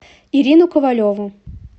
ирину ковалеву